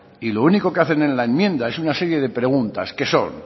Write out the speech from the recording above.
y lo único que hacen en la enmienda es una serie de preguntas que son